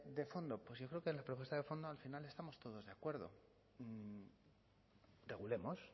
de fondo pues yo creo que la propuesta de fondo al final estamos todos de acuerdo regulemos